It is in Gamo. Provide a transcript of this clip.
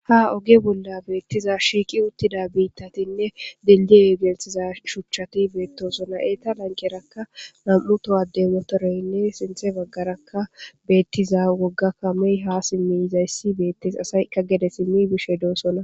Ha oge bolla beettiza shiiqi uttida biittatinne dildie geltiza shuchchati beettoosona eeta lankerakka nam'u towadde motoreynne sinthe baggarakka beettiza woggakkamey ha simmi izayssi beettes asayka gede simmi bishe doosona.